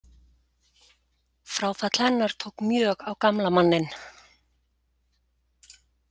Fráfall hennar tók mjög á gamla manninn.